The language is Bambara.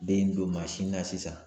Den don mansin na sisan